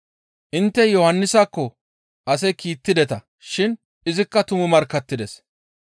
Intte Yohannisakko ase kiittideta shin izikka tumu markkattides.